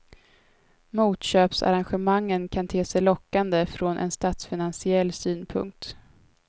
Motköpsarrangemangen kan te sig lockande från en statsfinansiell synpunkt.